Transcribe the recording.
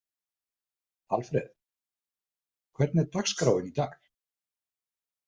Alfred, hvernig er dagskráin í dag?